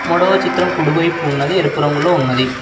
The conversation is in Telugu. మూడో చిత్రం కుడివైపు ఉన్నది ఎరుపు రంగులో ఉన్నది.